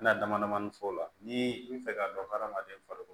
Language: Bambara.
Na dama damani fɔ o la ni i bi fɛ ka dɔn hadamaden farikolo